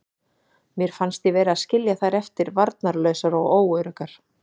Mér fannst ég vera að skilja þær eftir varnarlausar og óöruggar.